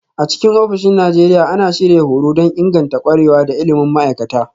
A cikin ofisoshin Najeriya, ana shirya horo don inganta ƙwarewa da ilimin ma'aikata